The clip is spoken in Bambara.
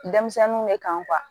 Denmisɛnninw de kan